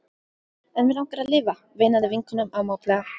En mig langar að lifa, veinaði vinkonan ámátlega.